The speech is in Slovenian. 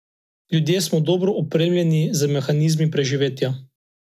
Ljudje smo dobro opremljeni z mehanizmi preživetja.